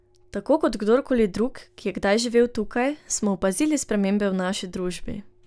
Tako kot kdor koli drug, ki je kdaj živel tukaj, smo opazili spremembe v naši družbi.